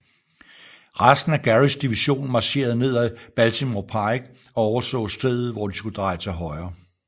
Resten af Gearys division marcherede ned af Baltimore Pike og overså stedet hvor de skulle dreje til højre